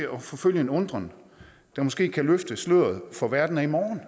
at forfølge en undren der måske kan løfte sløret for verden af i morgen